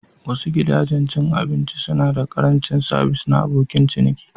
Wasu gidajen cin abinci suna da ƙarancin sabis na abokin ciniki.